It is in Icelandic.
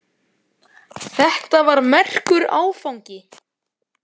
Þetta var merkur áfangi.